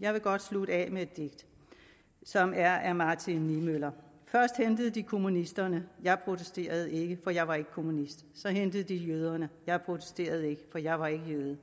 jeg vil godt slutte af med et digt som er af martin niemöller først hentede de kommunisterne jeg protesterede ikke for jeg var ikke kommunist så hentede de jøderne jeg protesterede ikke for jeg var ikke jøde